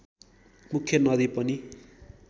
मुख्य नदी पनि